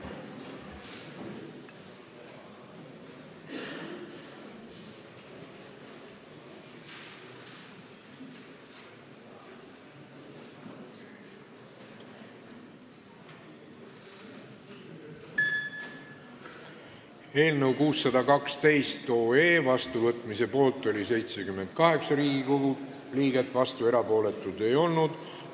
Hääletustulemused Eelnõu 612 otsusena vastuvõtmise poolt oli 78 Riigikogu liiget, vastuolijaid ega erapooletuid ei olnud.